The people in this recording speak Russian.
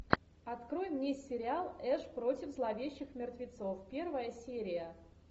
открой мне сериал эш против зловещих мертвецов первая серия